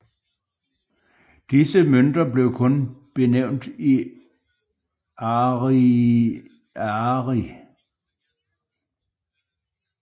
Disse mønter blev kun benævnt i ariary